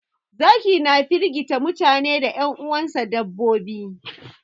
Zaki na firgita mutane da 'yan uwansa dabbobi.